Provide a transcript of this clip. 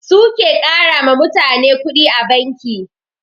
Su ke ƙarama mutane kuɗi a banki